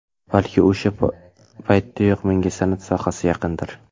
Balki, o‘sha paytdanoq menga san’at sohasi yaqindir.